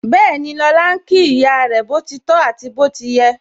Bẹẹni, lọ́la ń kí ìyá rẹ, boti tọ àti bó ti yẹ